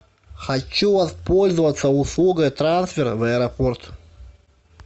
хочу воспользоваться услугой трансфера в аэропорт